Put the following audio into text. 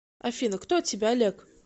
афина кто тебе олег